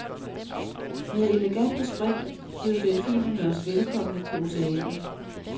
Med elegante spring bød delfinerne os velkomne på oceanet.